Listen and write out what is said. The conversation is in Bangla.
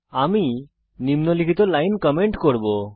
আমি নিম্নলিখিত লাইন কমেন্ট করব